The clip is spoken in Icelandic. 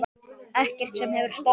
Ekkert sem hefur stoppað mig.